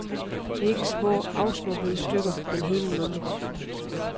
Det er ikke små afsnuppede stykker men hele numre.